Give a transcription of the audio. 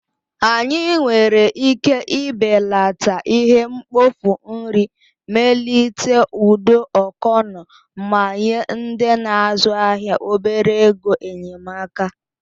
Anyị nwere ike ibelata ihe mkpofu nri, melite ụdọ ọkọnọ, ma nye ndị na-azụ ahịa obere ego enyemaka.